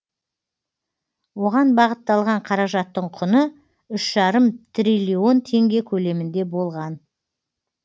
оған бағытталған қаражаттың құны үш жарым трлн теңге көлемінде болған